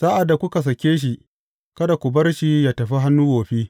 Sa’ad da kuka sake shi, kada ku bar shi yă tafi hannu wofi.